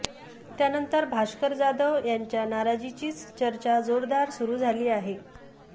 त्यानंतर भास्कर जाधव यांच्या नाराजीचीच चर्चा जोरदार सुरू झाली आहे